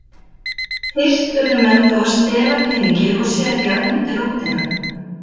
Fyrst urðu menn þó að stela peningi og setja undir rótina.